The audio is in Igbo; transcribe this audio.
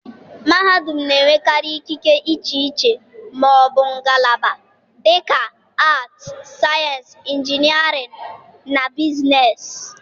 mahadum na-enwekarị ikike iche iche ma ọ bụ ngalaba, dị ka Arts, Sciences, Engineering, na Business.